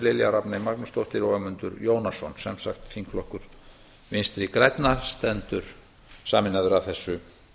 lilja rafney magnúsdóttir og ögmundur jónasson sem sagt þingflokkur vinstri grænna stendur sameinaður að þessu